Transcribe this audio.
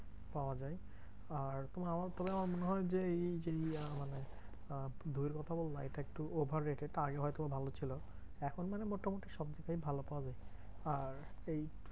পাওয়া যায়। আর তুমি আমার তাহলে আমার মনে হয় যে এই এই মানে আহ দইয়ের কথা বললে এটা একটু over rate এটা আগে হয়তো ভালো ছিল। এখন মানে মোটামুটি সব জায়গায় ভালো পাওয়া যায়। আর এই